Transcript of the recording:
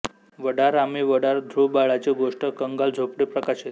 वडार आम्ही वडार धृवबाळाची गोष्ट कंगाल झोपडी प्रकाशित